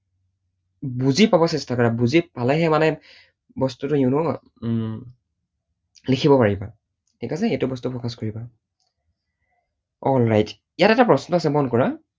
বুজি পাব চেষ্টা কৰা। বুজি পালেহে মানে বস্তুটো you know উম লিখিব পাৰিবা। ঠিক আছে? সেইটো বস্তু focus কৰিবা। alright । ইয়াত এটা প্ৰশ্ন আছে মন কৰা।